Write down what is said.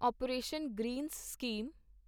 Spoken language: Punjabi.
operation greens scheme